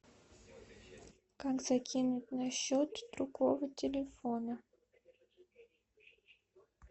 как закинуть на счет другого телефона